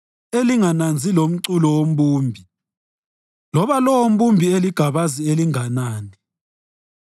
elingananzi lomculo wombumbi, loba lowombumbi eligabazi elinganani.